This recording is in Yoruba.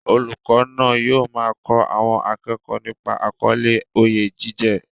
Olùkọ́ náà yóò máa kọ́ àwọn akẹ́kọ̀ọ́ nípa àkọlé "Oyè jíjẹ"